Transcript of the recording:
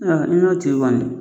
N'o tigi kɔni